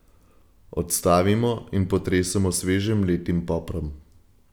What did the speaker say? Odstavimo in potresemo s sveže mletim poprom.